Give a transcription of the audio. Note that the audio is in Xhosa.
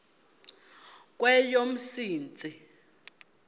kweyomsintsi